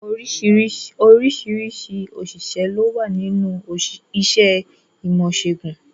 Oríṣiríṣi àwọn òṣìṣẹ́ lówà ní inú iṣẹ́ ìmọ̀-ìṣẹ̀gùn.